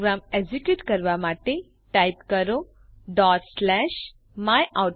programme execute કરવા માટે type કરો ડોટ સ્લેશ myoutput